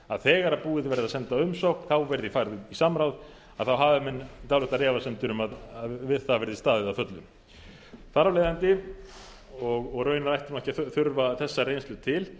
þegar verði búið að senda umsókn verði farið út í samráð að þá hafa menn dálitlar efasemdir um að við það verði staðið að fullu þar af leiðandi og raunar ætti ekki að þurfa þessa reynslu til